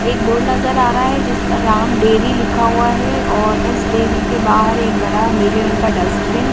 एक बोर्ड नज़र आ रहा है जिस पर राम डेरी लिखा हुआ है और उस डेरी के बाहर एक बड़ा नीले रंग का डस्ट्बिन --